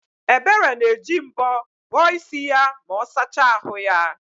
Ebere na-eji mbọ bọọ isi ma ọ sachaa ahụ ya